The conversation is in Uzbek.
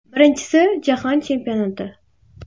Birinchisi Jahon Chempionati.